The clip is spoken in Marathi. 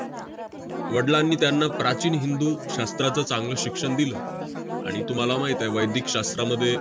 वडलांनी त्यांना प्राचीन हिंदू शास्त्राचं चांगलं शिक्षण दिलं. आणि तुम्हाला माहित आहे, वैदिक शास्त्रामध्ये